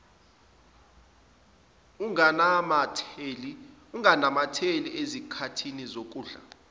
unganamatheli ezikhathini zokudla